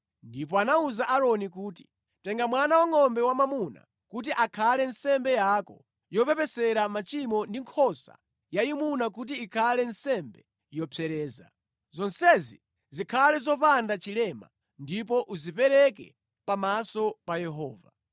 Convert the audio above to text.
Ndipo anawuza Aaroni kuti, “Tenga mwana wangʼombe wamwamuna kuti akhale nsembe yako yopepesera machimo ndi nkhosa yayimuna kuti ikhale nsembe yopsereza. Zonsezi zikhale zopanda chilema ndipo uzipereke pamaso pa Yehova.